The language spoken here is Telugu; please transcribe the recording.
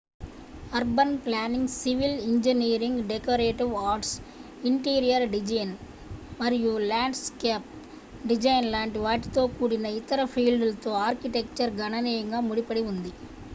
urban planning civil engineering decorative arts interior design మరియు ల్యాండ్స్కేప్ డిజైన్ లాంటి వాటితో కూడిన ఇతర ఫీల్డ్లతో ఆర్కిటెక్చర్ గణనీయంగా ముడిపడి ఉంది